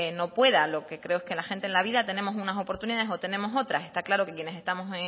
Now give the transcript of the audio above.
no pueda lo que creo es que la gente en la vida tenemos unas oportunidades o tenemos otras está claro que quienes estamos